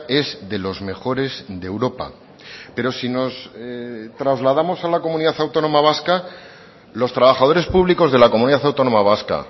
es de los mejores de europa pero si nos trasladamos a la comunidad autónoma vasca los trabajadores públicos de la comunidad autónoma vasca